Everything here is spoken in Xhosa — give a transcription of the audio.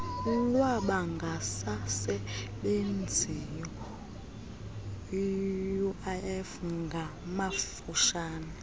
lwabangasasebenziyo uif ngamafutshane